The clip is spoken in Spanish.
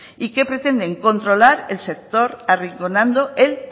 y que pretenden controlar el sector arrinconando el